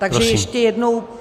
Takže ještě jednou.